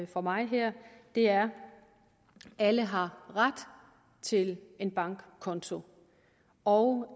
fra mig her er alle har ret til en bankkonto og